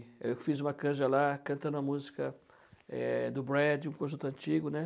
eu fiz uma canja lá, cantando a música eh, do Brad, um conjunto antigo, né?